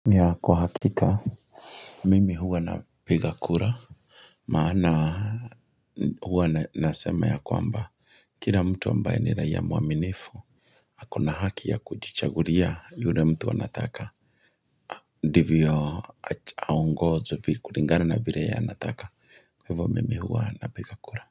Kwa hakika Mimi huwa napiga kura Maana huwa nasema ya kwamba kila mtu ambaye ni raia mwaminifu ako na haki ya kujichagulia yule mtu anataka ndivyo aongozwe kuringana na vire ya anataka kwa Hivo mimi huwa napiga kura.